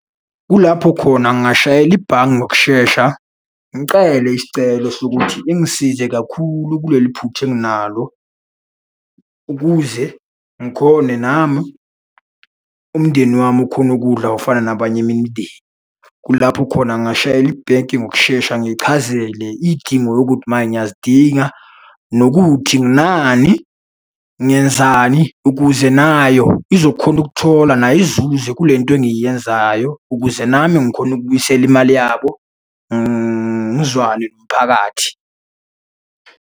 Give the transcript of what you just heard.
Kulapho khona ngingashayela ibhange ngokushesha, ngicele isicelo sokuthi ingisize kakhulu kuleli phutha enginalo, ukuze ngikhone nami, umndeni wami ukhone ukudla okufana nabanye eminye imindeni. Kulapho khona ngingashayela ibhenki ngokushesha ngichazele iy'dingo yokuthi manye ngiyazidinga, nokuthi nginani, ngenzani, ukuze nayo izokhona ukuthola nayo izuze kule nto engiyenzayo ukuze nami ngikhone ukubuyisela imali yabo, ngizwane nomphakathi.